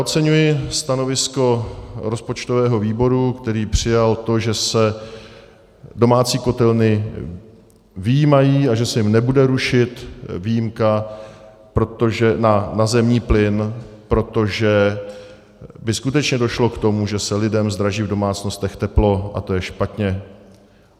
Oceňuji stanovisko rozpočtového výboru, který přijal to, že se domácí kotelny vyjímají a že se jim nebude rušit výjimka na zemní plyn, protože by skutečně došlo k tomu, že se lidem zdraží v domácnostech teplo, a to je špatně.